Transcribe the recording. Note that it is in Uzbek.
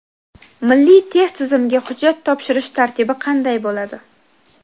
Milliy test tizimiga hujjat topshirish tartibi qanday bo‘ladi?.